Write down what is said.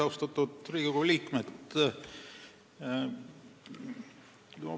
Austatud Riigikogu liikmed!